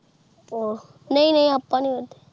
ਹਾਂ ਨਾਈ ਨਾਈ ਆਪ ਨੀ ਵੱਧ ਦੇ